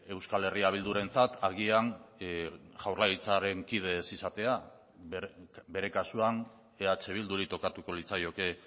euskal herria bildurentzat agian jaurlaritzaren kide ez izatea bere kasuan eh bilduri tokatuko litzaioke